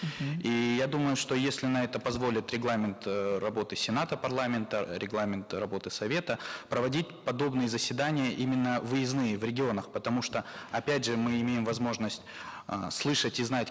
мхм и я думаю что если на это позволит регламент э работы сената парламента регламент работы совета проводить подобные заседания именно выездные в регионах потому что опять же мы имеем возможность э слышать и знать